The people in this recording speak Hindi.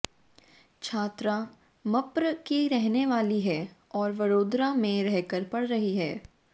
छात्रा मप्र की रहने वाली है और वडोदरा में रहकर पढ़ रही है